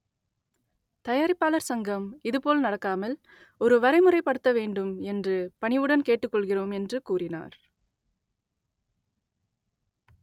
தயாரிப்பாளர் சங்கம் இதுபோல் நடக்காமல் ஒரு வரைமுறை படுத்த வேண்டும் என்று பணிவுடன் கேட்டுக்கொள்கிறோம் என்று கூறினார்